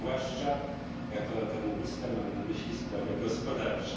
zwłaszcza jako ekonomista mam na myśli sprawy gospodarcze.